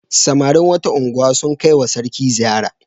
Samarin wata unguwa sun kai wa sarki ziyara.